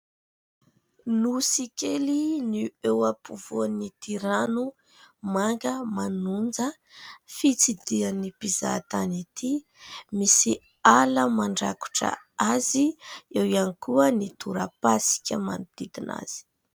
Nosy kely no eo afofoan'ity rano manga manonja fitsidihan'ny mpizaha tany ity. Misy ala mandrakotra azy, eo ihany koa ny tora-pasika manodidina azy.